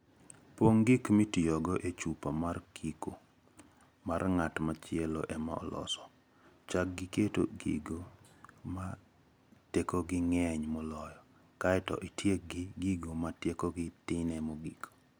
Pong' gik mitiyogo e chupa mar kiko(ma ng'at machielo ema oloso), chak gi keto gigo ma tekogi ng'eny moloyo, kae to itiek gi gigo ma tekogi tinie mogik.